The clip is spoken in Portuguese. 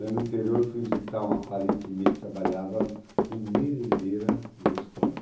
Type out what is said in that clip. Daí, no interior, fui visitar uma parente minha que trabalhava como merendeira numa escola.